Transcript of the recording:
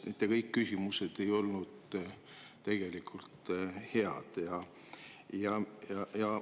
Mitte kõik küsimused ei ole olnud.